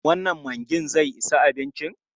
Wannan maggin zai isa abincin?